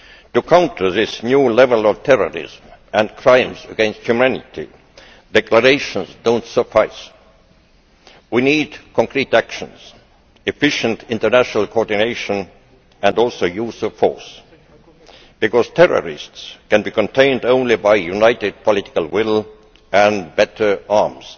To counter this new level of terrorism and crimes against humanity, declarations do not suffice. We need concrete actions, efficient international coordination, and also the use of force, because terrorists can be contained only by united political will and better arms.